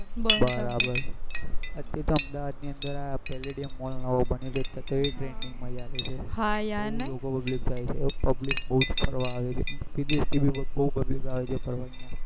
બરાબર અમદાવાદ ની અંદર palladium નવો બન્યો છે તો ત્યાં તો કેવી મજા આવે છે હા યાર બહુ લોકો public જાય છે public બહુ જ ફરવા આવે છે બહુ જ public આવે છે ફરવા અહિયાં